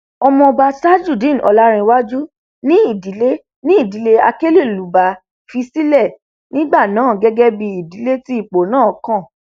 ọmọọba tajudeen ọlàǹrewájú ni ìdílé ni ìdílé akelelúbá fi sílẹ nígbà náà gẹgẹ bíi ìdílé tí ipò náà kàn